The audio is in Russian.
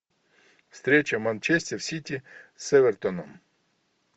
встреча манчестер сити с эвертоном